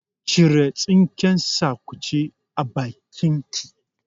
Cire tsinken sakace a bakin ki!